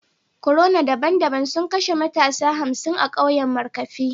Corona daban-daban sun kashe matasa hamsin a kauyen markafi